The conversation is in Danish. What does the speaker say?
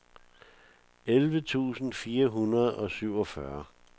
elleve tusind fire hundrede og syvogfyrre